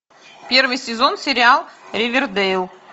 первый сезон сериал ривердейл